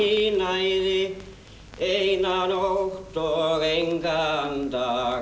í næði eina nótt og engan dag